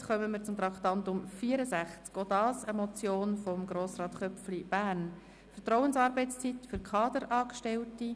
Wir kommen zum Traktandum 64, auch dies ist eine Motion von Grossrat Köpfli, «Vertrauensarbeitszeit für Kaderangestellte».